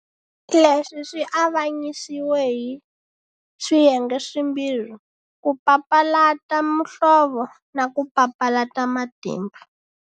Leswi swi avanyisiwe hi swiyenge swimbirhi, ku papalata muhlovo na ku papalata matimba.